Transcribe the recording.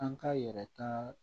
An k'a yɛrɛ ta